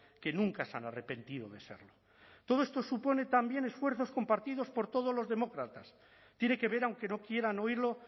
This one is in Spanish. que nunca se han arrepentido de serlo todo esto supone también esfuerzos compartidos por todos los demócratas tiene que ver aunque no quieran oírlo